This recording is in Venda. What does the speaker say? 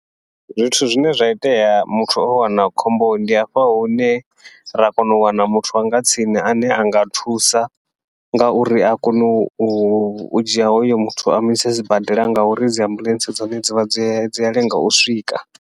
Zwithu zwine zwa itea muthu o wana khombo ndi hafha hune ra kona u wana muthu wanga tsini ane anga thusa, ngauri a kone u dzhia hoyo muthu a muise sibadela ngauri dzi ambuḽentse dza hone dzivha dzi dzi a lenga u swika.